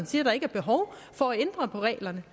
siger at der ikke er behov for at ændre på reglerne